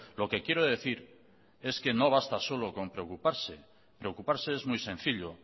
lo que quiero decir es que no basta solo con preocuparse preocuparse es muy sencillo